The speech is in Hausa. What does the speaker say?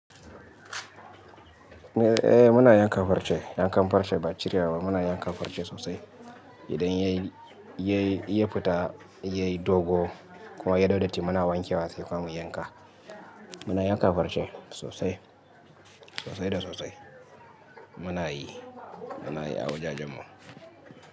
Eh muna yanka farce, yankan farce ba cirewa ba muna yanka farce sosai. Idan ya yi, ya yi, ya fita, ya yi dogo kuma ya dau datti muna wankewa sai kuma mu yanka. Muna yanka farce sosai, sosai da sosai. Muna yi, muna yi a wajajen mu.